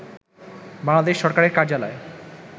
বাংলাদেশ সরকারের কার্যালয়